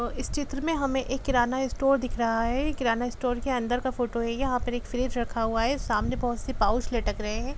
अ इस चित्र में हमे एक किराणा स्टोर दिख रहा हैं किराणा स्टोर के अन्दर का फोटो हैं यहाँ पर एक फ्रिज रखा हुआ हैं सामने बहोत से पाउच लटक रहे है।